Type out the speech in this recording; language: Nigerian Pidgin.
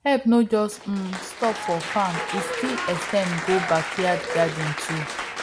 help no just um stop for farm e still ex ten d go backyard garden too